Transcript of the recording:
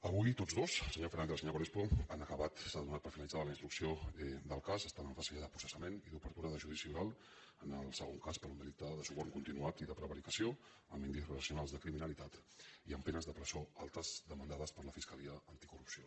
avui tots dos el senyor fernández i el senyor crespo han acabat s’ha donat per finalitzada la instrucció del cas està ja en fase de processament i d’obertura de ju·dici oral en el segon cas per un delicte de suborn con·tinuat i de prevaricació amb indicis racionals de cri·minalitat i amb penes de presó altes demandades per la fiscalia anticorrupció